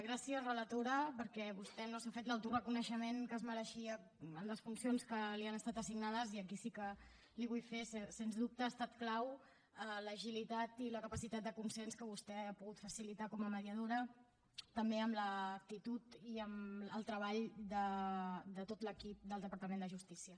gràcies relatora perquè vostè no s’ha fet l’autoreconeixement que es mereixia en les funcions que li han estat assignades i aquí sí que les hi vull fer sens dubte han estat claus l’agilitat i la capacitat de consens que vostè ha pogut facilitar com a mediadora també amb l’actitud i amb el treball de tot l’equip del departament de justícia